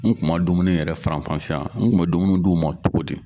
N kun man dumuni yɛrɛ faranfasiya n kun bɛ dumuni d'u ma cogo di?